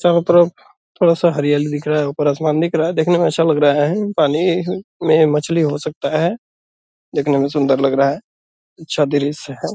चारों तरफ थोड़ा सा हरियाली दिख रहा है। ऊपर आसमान दिख रहा है। देखने में अच्छा लग रहा है। पानी में मछली हो सकता है। देखने में सुन्दर लग रहा है। अच्छा दृश्य है।